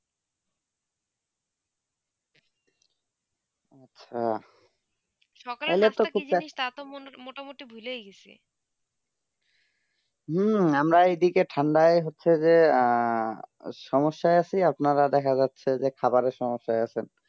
হেঁ সকালে তা তো মোটা মতি ভুলে ই গেছি আমার এই দিকে ঠান্ডায় হচ্ছেই যে সমস্যা আছি আপনা রা দেখা যাচ্ছে খাবারে সমস্যা আছে